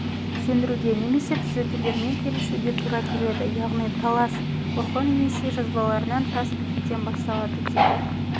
сендіруге немесе түзетулермен келісуге тура келеді яғни талас сына орон-енесей жазбаларынан тас бітіктен басталады дейді